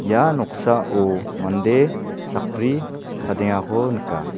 ia noksao mande sakbri chadengako nika.